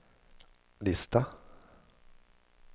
lista